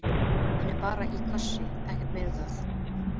Hann er bara í skvassi og ekkert meira með það.